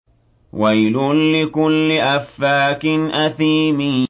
وَيْلٌ لِّكُلِّ أَفَّاكٍ أَثِيمٍ